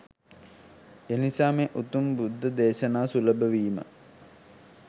එනිසා මේ උතුම් බුද්ධ දේශනා සුලභ වීම